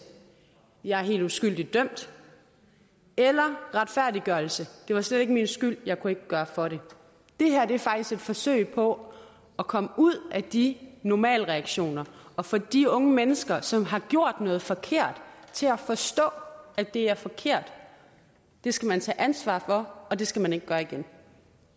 jeg er helt uskyldigt dømt eller retfærdiggørelse det var slet ikke min skyld jeg kunne ikke gøre for det det her er faktisk et forsøg på at komme ud af de normalreaktioner og for de unge mennesker som har gjort noget forkert til at forstå at det er forkert det skal man tage ansvar for og det skal man ikke gøre igen